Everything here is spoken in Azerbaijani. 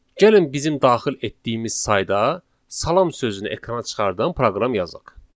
Gəlin bizim daxil etdiyimiz sayda "Salam" sözünü ekrana çıxardan proqram yazaq.